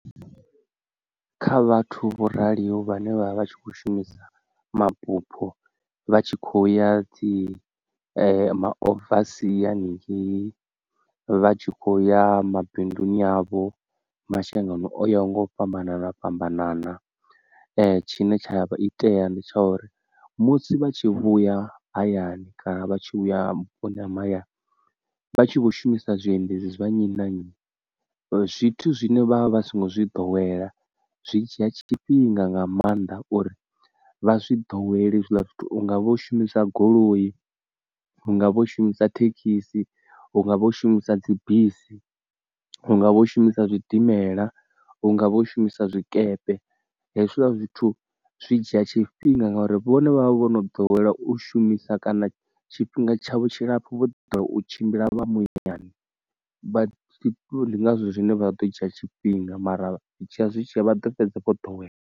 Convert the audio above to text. Kha vhathu vho raliho vhane vha vha vha tshi kho shumisa mabupho vha tshi khoya dzi ma oversea haningeyi vha tshi kho ya mabinduni avho mashangoni oya nga u fhambanana fhambanana tshine tsha itea ndi tsha uri musi vha tshi vhuya hayani kana vha tshi vhuya vhuponi ha mahayani vha tshi vho shumisa zwiendedzi zwa nnyi na nnyi zwithu zwine vha vha vha songo zwi ḓowela zwi dzhia tshifhinga nga maanḓa uri vha zwi ḓowele hezwiḽa zwithu hungavha u shumisa goloi, hungavha u shumisa thekhisi, hungavha u shumisa dzi bisi, hungavha u shumisa zwidimela, hungavha u shumisa zwikepe hezwiḽa zwithu zwi dzhia tshifhinga ngori vhone vha vha vho no ḓowela u shumisa kana tshifhinga tshavho tshilapfu vho ḓala u tshimbila vha muyani vha ndi ngazwo zwine vha ḓo dzhia tshifhinga mara zwi tshiya zwi tshiya vha ḓo fhedza vho ḓowela.